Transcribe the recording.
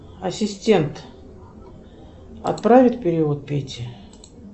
ассистент отправить перевод пете